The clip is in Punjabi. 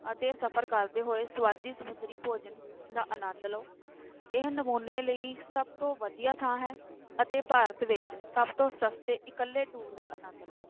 ਅਤੇ ਸਫ਼ਰ ਕਰਦੇ ਹੋਏ ਸਵਾਦੀ ਸਮੁੰਦਰੀ ਭੋਜਨ ਦਾ ਅਨੰਦ ਲਓ, ਇਹ ਨਮੂਨੇ ਲਈ ਸਭ ਤੋਂ ਵਧੀਆ ਥਾਂ ਹੈ ਅਤੇ ਭਾਰਤ ਵਿੱਚ ਸਭ ਤੋਂ ਸਸਤੇ ਇਕੱਲੇ tour ਦਾ ਆਨੰਦ ਲਓ।